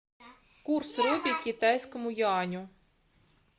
курс рупий к китайскому юаню